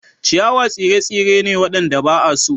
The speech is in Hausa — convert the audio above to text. Ciyawa tsire-tsire ne waɗanda ba a so.